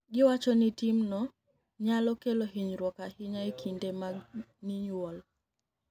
Giwacho nii timno niyalo kelo hiniyruok ahiniya e kinide mag niyuol.